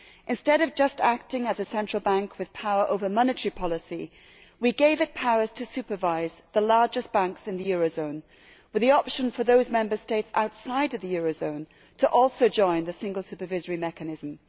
Instead of just acting as a central bank with power over monetary policy, we gave it powers to supervise the largest banks in the eurozone, with the option for those Member States outside the eurozone to also join the single supervisory mechanism.